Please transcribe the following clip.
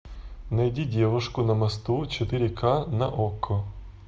найди девушку на мосту четыре ка на окко